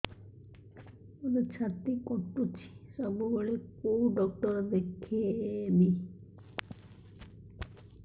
ମୋର ଛାତି କଟୁଛି ସବୁବେଳେ କୋଉ ଡକ୍ଟର ଦେଖେବି